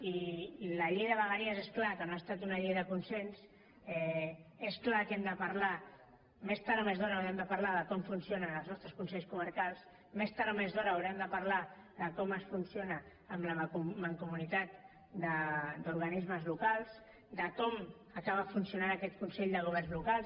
i la llei de vegueries és clar que no ha estat una llei de consens és clar que hem de parlar més tard o més d’hora n’haurem de parlar de com funcionen els nostres consells comarcals més tard o més d’hora haurem de parlar de com es funciona amb la mancomunitat d’organismes locals de com acaba funcionant aquest consell de governs locals